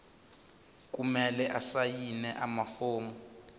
kumele asayine amafomu